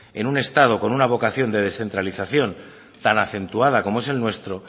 en un estado con una vocación de descentralización tan acentuada como es el nuestro